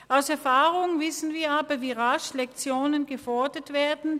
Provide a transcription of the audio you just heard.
Aus Erfahrung wissen wir aber, wie rasch Lektionen gefordert werden.